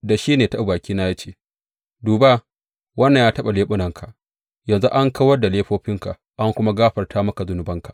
Da shi ne ya taɓa bakina ya ce, Duba, wannan ya taɓa leɓunanka, yanzu fa an kawar da laifofinka, an kuma gafarta maka zunubanka.